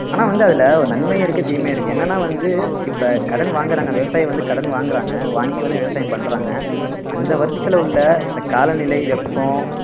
ஆனா வந்து அதுல ஒரு நன்மை இருக்கு தீமையும் இருக்கு என்னன்னா வந்து இப்ப கடன் வாங்குறாங்க விவசாயி வந்து கடன் வாங்குறாங்க வாங்கி வந்து விவசாயம் பண்றாங்க அந்த வருஷத்துல உள்ள இந்த காலநிலை வெப்பம்